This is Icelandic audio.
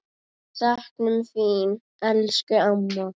Við söknum þín, elsku amma.